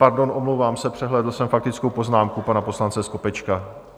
Pardon, omlouvám se, přehlédl jsem faktickou poznámku pana poslance Skopečka.